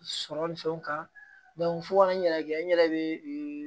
Sɔrɔ ni fɛnw kan fo ka n yɛrɛ kɛ n yɛrɛ bɛ